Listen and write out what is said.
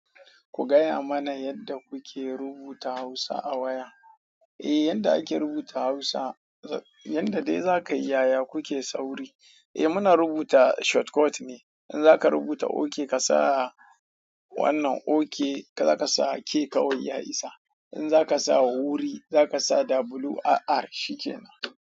Ku gaya mana yadda kuke rubuta Hausa a waya. Eh, yadda ake rubuta Hausa, yadda dai za ka yi yaya kuke sauri. Eh muna rubuta shortcut ne. In za ka rubuta okay ka sa wannan okay za ka sa K kawai ya isa. In za ka sa huri za ka sa WRR shi kenan.